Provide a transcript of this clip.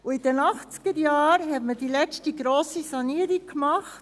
In den 1980er-Jahren führte man die letzte grosse Sanierung durch;